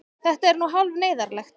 Þetta er nú hálf neyðarlegt.